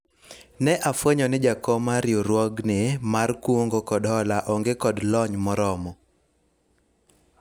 ne afwenyo ni jakom mar riwruogni mar kungo kod hola onge kod lony moromo